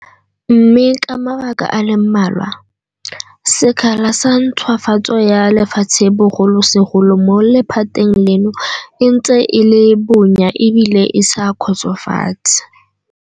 Mme ka mabaka a le mmalwa, sekgala sa ntšhwafatso ya lefatshe bogolosegolo mo lephateng leno e ntse e le bonya ebile e sa kgotsofatse.